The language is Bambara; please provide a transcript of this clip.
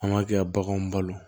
An b'a kɛ ka baganw balo